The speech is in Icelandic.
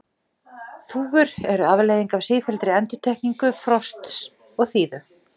Þúfur eru afleiðing af sífelldri endurtekningu frosts og þíðu.